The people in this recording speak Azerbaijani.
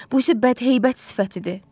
Bu isə bədheybət sifətidir.